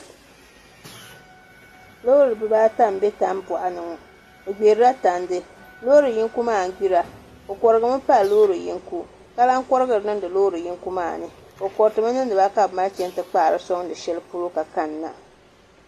Loori bibaata n bɛ tan doɣa ni ŋo bi gbirila tandi loori yinko maa n gbira o korigimi pali loori yinga ka lahi korihiri niŋdi loori yinko maa ni o koritimi niŋdiba ka bi mali chɛni ti kpaari soŋdi shɛli polo ka kanna